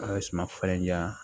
A ye suma falen ja